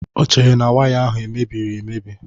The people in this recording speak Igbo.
O chere na waya ahụ mebiri emebi.